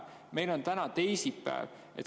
Meil on täna teisipäev.